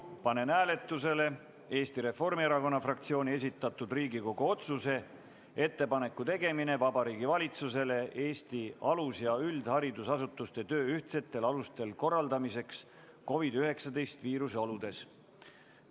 Panen hääletusele Eesti Reformierakonna fraktsiooni esitatud Riigikogu otsuse "Ettepanek Vabariigi Valitsusele Eesti alus- ja üldharidusasutuste töö korraldamiseks ühtsetel alustel COVID-19 viiruse oludes" eelnõu.